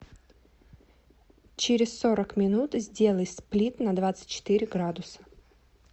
через сорок минут сделай сплит на двадцать четыре градуса